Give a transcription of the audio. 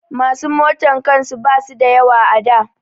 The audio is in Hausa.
Masu motan kan su ba su da yawa a da